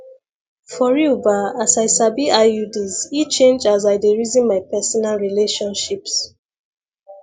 for real ba as i sabi iuds e change as i dey reason my personal relationships